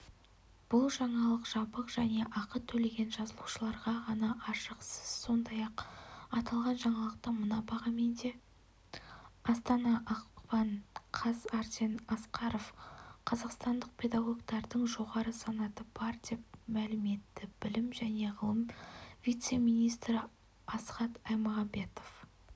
бұл жаңалық жабық және ақы төлеген жазылушыларға ғана ашық сіз сондай-ақ аталған жаңалықты мына бағамен де